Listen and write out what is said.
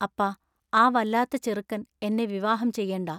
അപ്പാ ആ വല്ലാത്ത ചെറുക്കൻ എന്നെ വിവാഹം ചെയ്യെണ്ടാ.